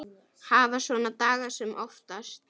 Hafa svona daga sem oftast.